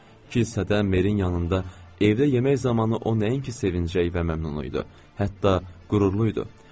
Qısa müddətdə Merinin yanında evdə yemək zamanı o nəinki sevinclək və məmnun idi, hətta qürurlu idi.